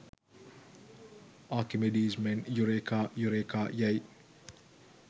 ආකිමිඞීස් මෙන් eureka eureka යැයි